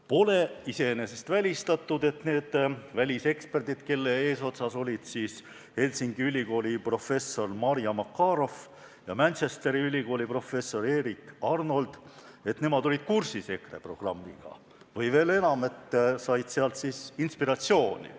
Pole iseenesest välistatud, et need väliseksperdid, kelle eesotsas olid Helsingi Ülikooli professor Marja Makarow ja Manchesteri Ülikooli professor Erik Arnold, olid kursis EKRE programmiga või, veel enam, said sealt inspiratsiooni.